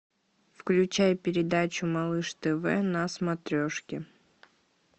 включай передачу малыш тв на смотрешке